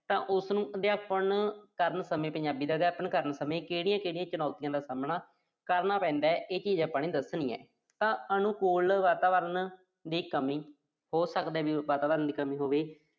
ਤਾਂ ਉਸਨੂੰ ਅਧਿਆਪਨ ਕਰਨ ਸਮੇਂ ਪੰਜਾਬੀ ਦਾ ਅਧਿਆਪਨ ਕਰਨ ਸਮੇਂ ਕਿਹੜੀਆਂ-ਕਿਹੜੀਆਂ ਚੁਣੌਤੀਆਂ ਦਾ ਸਾਹਮਣਾ ਕਰਨਾ ਪੈਂਦਾ। ਇਹ ਚੀਜ਼ ਆਪਾਂ ਨੇ ਦੱਸਣੀ ਆ। ਤਾਂ ਅਨੁਕੂਲ ਵਾਤਾਵਰਣ ਦੀ ਕਮੀ। ਹੋ ਸਕਦਾ ਵੀ ਉਸ ਵਾਤਾਵਰਣ ਦੀ ਕਮੀ ਹੋਵੇ।